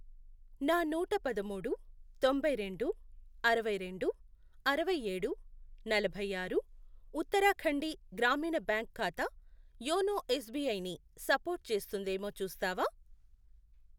నా నూట పదమూడు, తొంభైరెండు, అరవైరెండు, అరవైయేడు, నలభై ఆరు, ఉత్తరాఖండి గ్రామీణ బ్యాంక్ ఖాతా యోనో ఎస్ బీ ఐ ని సపోర్టు చేస్తుందేమో చూస్తావా?